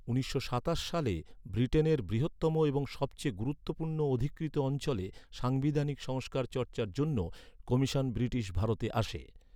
উনিশশো সাতাশ সালে ব্রিটেনের বৃহত্তম এবং সবচেয়ে গুরুত্বপূর্ণ অধিকৃত অঞ্চলে সাংবিধানিক সংস্কার চর্চার জন্য কমিশন ব্রিটিশ ভারতে আসে।